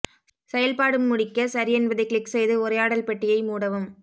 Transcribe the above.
செயல்பாடு முடிக்க சரி என்பதைக் கிளிக் செய்து உரையாடல் பெட்டியை மூடவும்